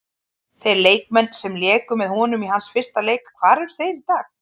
Þeir leikmenn sem léku með honum í hans fyrsta leik, hvar eru þeir í dag?